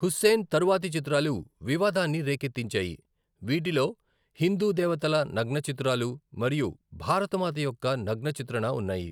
హుస్సేన్ తరువాతి చిత్రాలు వివాదాన్ని రేకెత్తించాయి, వీటిలో హిందూ దేవతల నగ్న చిత్రాలు మరియు భరతమాత యొక్క నగ్న చిత్రణ ఉన్నాయి.